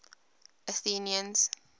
athenians